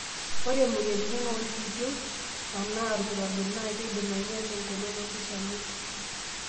Ore moyiaritin oolkipieu anaa olkirobi naa keidim ainyala engolon olkishamiet.